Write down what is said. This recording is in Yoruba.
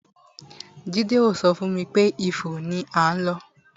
Jade ò so fún mi pé Ifo ni à ń lọ.